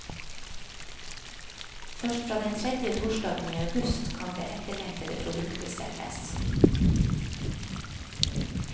Først fra den tredje torsdagen i august kan det etterlengtede produktet selges.